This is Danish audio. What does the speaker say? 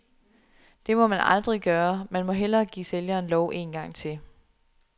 Det må man aldrig gøre, man må hellere give sælgeren lov en gang til.